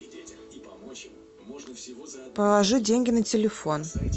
положи деньги на телефон